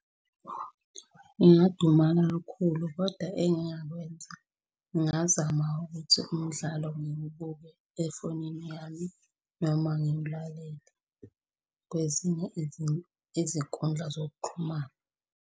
Ngingadumala kakhulu koda engingakwenza ngingazama ukuthi umdlalo ngiwubuke efonini yami noma ngiwulalele kwezinye izinkundla zokuxhumana.